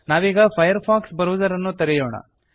ನಾವೀಗ Firefox browser ಅನ್ನು ತೆರೆಯೋಣ